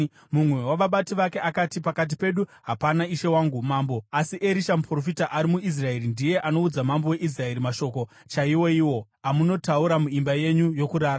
Mumwe wavabati vake akati, “Pakati pedu hapana, ishe wangu mambo, asi Erisha, muprofita ari muIsraeri ndiye anoudza mambo weIsraeri mashoko chaiwoiwo amunotaura muimba yenyu yokurara.”